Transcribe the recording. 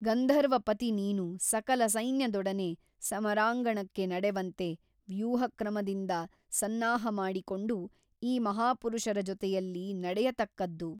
ಗಂಧರ್ವಪತಿ ನೀನು ಸಕಲ ಸೈನ್ಯದೊಡನೆ ಸಮರಾಂಗಣಕ್ಕೆ ನಡೆವಂತೆ ವ್ಯೂಹಕ್ರಮದಿಂದ ಸನ್ನಾಹಮಾಡಿ ಕೊಂಡು ಈ ಮಹಾಪುರುಷರ ಜೊತೆಯಲ್ಲಿ ನಡೆಯತಕ್ಕದ್ದು.